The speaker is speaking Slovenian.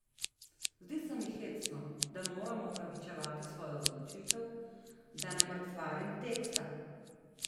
Zdi se mi hecno, da moram opravičevati svojo odločitev, da ne mrcvarim teksta.